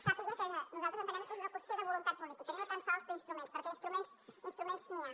sàpiga que nosaltres entenem que és una qüestió de voluntat política no tan sols d’instruments perquè instruments n’hi ha